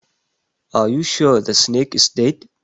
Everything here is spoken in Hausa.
Are you sure the snake is dead